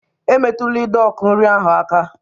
Emetụla ide ọkụ nri aka!